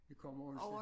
Vi kommer onsdag